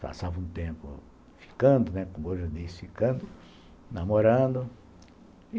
Passava um tempo ficando, né, como eu disse, ficando, namorando.